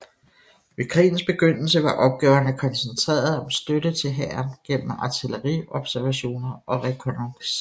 Ved krigens begyndelse var opgaverne koncentreret om støtte til hæren gennem artilleriobservationer og rekognosceringer